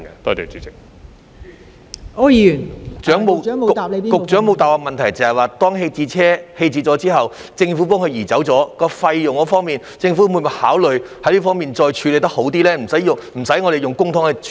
局長沒有回答我的補充質詢的部分是，當政府移走棄置車輛後，在承擔費用方面，政府會否考慮作出更好的處理，不需要我們用公帑來處理。